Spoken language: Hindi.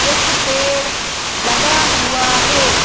एक पेड़ लगा हुआ है।